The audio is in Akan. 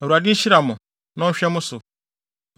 “‘ Awurade nhyira mo na ɔnhwɛ mo so.